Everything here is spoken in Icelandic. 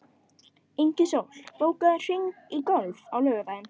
Ingisól, bókaðu hring í golf á laugardaginn.